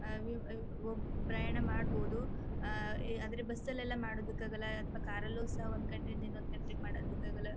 ಆ ವಿ ವವ್ ಪ್ರಯಾಣ ಮಾಡಬಹುದು ಆ ಆದರೆ ಬಸ್ ಲ್ಲೆಲ್ಲ ಮಾಡೋದಿಕ್ಕೆ ಆಗಲ್ಲ ಕಾರ್ ಲ್ಲು ಸಹ ಒಂದು ಕಂಟ್ರಿ ಯಿಂದ ಇನ್ನೊಂದು ಕಂಟ್ರಿ ಗೆ ಮಾಡಕ್ಕೆ ಆಗಲ್ಲ.